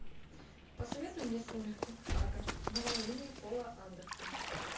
посоветуй мне сумерки сага новолуние пола андерсона